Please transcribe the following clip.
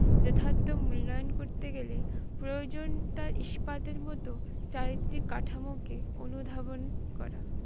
যথার্থ মূল্যায়ন করতে গেলে প্রয়োজনটা spath এর মত চারিত্রিক কাঠামোকে অনুধাবন করা।